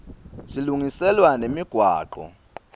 silungiselwa nemigwaco